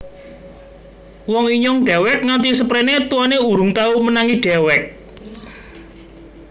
Wong Inyong dewek Nganti seprene tuane Urung tau Menangi Dewek